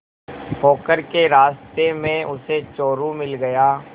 पोखर के रास्ते में उसे चोरु मिल गया